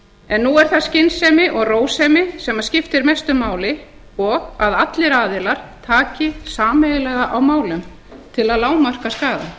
en nú er það skynsemi og rósemi sem skiptir mestu máli og að allir aðilar taki sameiginlega á málum til að lágmarka